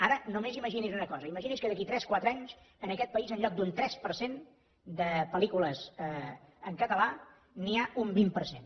ara només imagini’s una cosa imagini’s que d’aquí a tres quatre anys en aquest país en lloc d’un tres per cent de pel·lícules en català n’hi ha un vint per cent